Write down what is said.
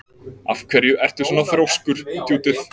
Af hverju ertu svona þrjóskur, Judith?